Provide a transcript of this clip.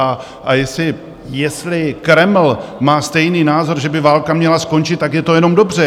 A jestli Kreml má stejný názor, že by válka měla skončit, tak je to jenom dobře.